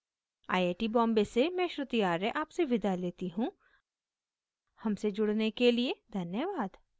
iit iit T Bombay से मैं श्रुति आर्य आपसे विदा लेती हूँ हमसे जुड़ने के लिए धन्यवाद